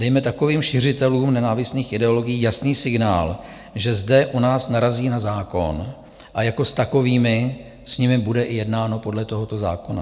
Dejme takovým šiřitelům nenávistných ideologií jasný signál, že zde u nás narazí na zákon a jako s takovými s nimi bude i jednáno podle tohoto zákona.